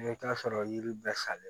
I bɛ taa sɔrɔ yiri bɛɛ salen